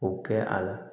O kɛ a la